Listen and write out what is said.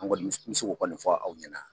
An kɔni n bɛ se k'o kɔni fɔ aw ɲɛna.